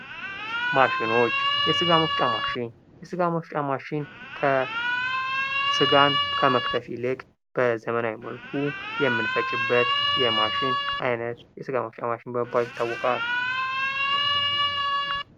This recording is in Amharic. ማሸኖች የስጋ መፍጫ ማሽን ስጋን ከመክተፍ ይልቅ በዘመናዊ መልኩ የመፈጨበት በዘመናዊ መልኩ ምንፈጭበት የስጋ መፍጫ ማሽን በመባል ይታወቃል።